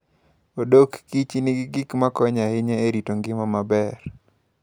odok kich nigi gik makonyo ahinya e rito ngima maber.